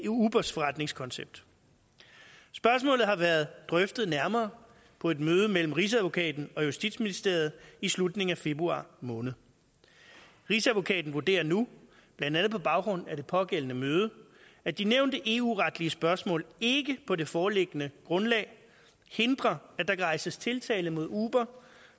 ubers forretningskoncept spørgsmålet har været drøftet nærmere på et møde mellem rigsadvokaten og justitsministeriet i slutningen af februar måned rigsadvokaten vurderer nu blandt andet på baggrund af det pågældende møde at de nævnte eu retlige spørgsmål ikke på det foreliggende grundlag hindrer at der kan rejses tiltale mod uber